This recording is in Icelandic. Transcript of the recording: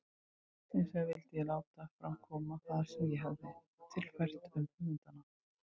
Hinsvegar vildi ég láta fram koma það sem ég hefi tilfært um höfundana.